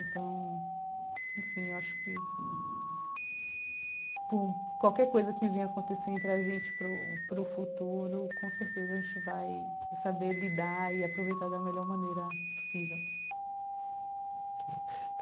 Então, enfim, eu acho que... Por qualquer coisa que vem acontecer entre a gente para o para o futuro, com certeza a gente vai saber lidar e aproveitar da melhor maneira possível.